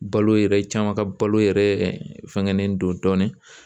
Balo yɛrɛ caman ka balo yɛrɛ fɛngɛnen don dɔɔnin